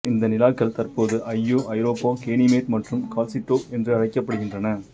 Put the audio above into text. இந்த நிலாக்கள் தற்போது ஐயோ ஐரோப்பா கேனிமெட் மற்றும் கால்லிச்டோ என்று அழைக்கப்படுகின்றன